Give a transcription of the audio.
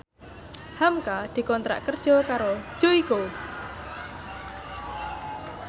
hamka dikontrak kerja karo Joyko